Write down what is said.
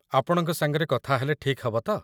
ଆପଣଙ୍କ ସାଙ୍ଗରେ କଥା ହେଲେ ଠିକ୍ ହବ ତ?